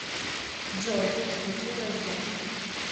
джой включи рождэн